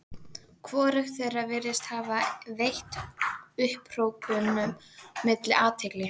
Hvorugt þeirra virðist hafa veitt upphrópunum mínum athygli.